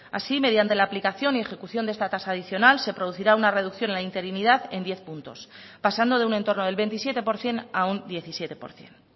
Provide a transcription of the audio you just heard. así mediante la aplicación y ejecución de esta tasa adicional se producirá una reducción en la interinidad en diez puntos pasando de un en torno del veintisiete por ciento a un diecisiete por ciento